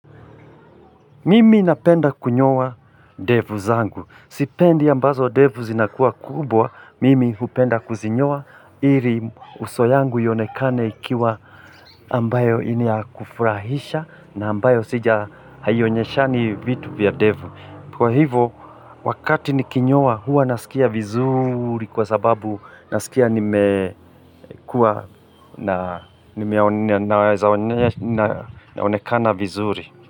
Mimi napenda kunyoa ndevu zangu. Sipendi ambazo ndevu zinakuwa kubwa, mimi hupenda kuzinyoa. Ili uso yangu ionekane ikiwa ambayo ni ya kufurahisha na ambayo sija haionyeshani vitu vya ndevu. Kwa hivo, wakati nikinyoa huwa nasikia vizuri kwa sababu nasikia nimekua naonekana vizuri.